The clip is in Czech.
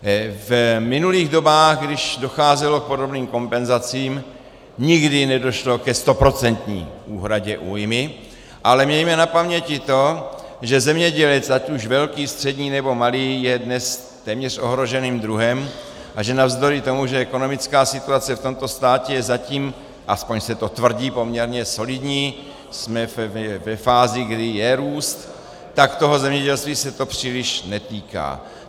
V minulých dobách, když docházelo k podobným kompenzacím, nikdy nedošlo ke stoprocentní úhradě újmy, ale mějme na paměti to, že zemědělec ať už velký, střední, nebo malý je dnes téměř ohroženým druhem a že navzdory tomu, že ekonomická situace v tomto státě je zatím - aspoň se to tvrdí - poměrně solidní, jsme ve fázi, kdy je růst, tak toho zemědělství se to příliš netýká.